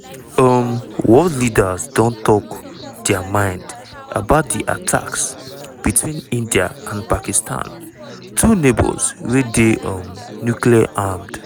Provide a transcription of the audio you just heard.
um world leaders don tok dia mind about di attacks between india and pakistan two neigbours wey dey um nuclear-armed.